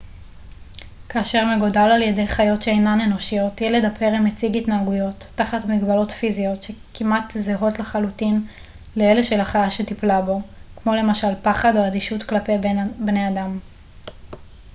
כאשר מגודל על-ידי חיות שאינן אנושיות ילד הפרא מציג התנהגויות תחת מגבלות פיזיות כמעט זהות לחלוטין לאלה של החיה שטיפלה בו כמו למשל פחד או אדישות כלפי בני אדם